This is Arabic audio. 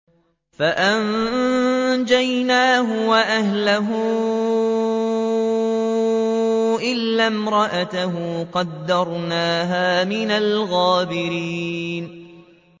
فَأَنجَيْنَاهُ وَأَهْلَهُ إِلَّا امْرَأَتَهُ قَدَّرْنَاهَا مِنَ الْغَابِرِينَ